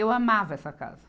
Eu amava essa casa.